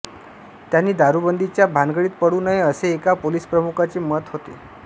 त्यानी दारूबंदीच्या भानगडीत पडू नये असे एका पोलीसप्रमुखांचे मत होते